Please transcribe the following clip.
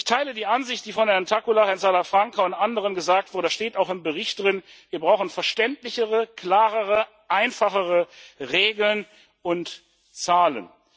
Ich teile die Ansicht, die von Herrn Takkula, Herrn Salafranca und anderen gesagt wurde das steht auch im Bericht drin Wir brauchen verständlichere, klarere, einfachere Regeln und Zahlen.